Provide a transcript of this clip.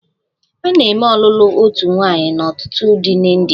A na-eme ọlụlụ otu nwaanyị na ọtụtụ di na India.